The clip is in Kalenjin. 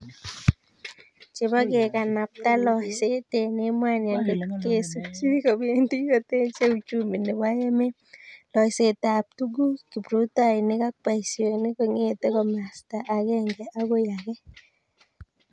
Chebo kekanapta loiseet emg emoni angot kesupchi kobendi kotechei uchumi nebo emet loiseetab tuguuk, kiprutoinik ako boisionik kong'ete komasta agenge akoi age.